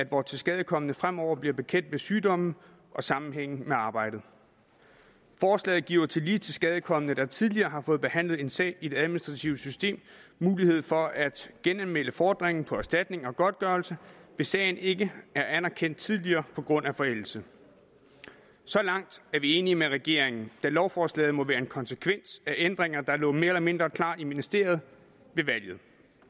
hvor tilskadekomne fremover bliver bekendt med sygdommen og sammenhængen med arbejdet forslaget giver tillige tilskadekomne der tidligere har fået behandlet en sag i det administrative system mulighed for at genanmelde fordringen på erstatning og godtgørelse hvis sagen ikke er anerkendt tidligere på grund af forældelse så langt er vi enige med regeringen da lovforslaget må være en konsekvens af ændringer der lå mere eller mindre klar i ministeriet ved valget